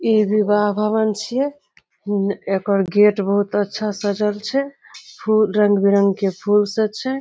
ई विवाह भवन छिये एकर गेट बहुत अच्छा सजल छै फूल रंग-बिरंग के फूल से छै ।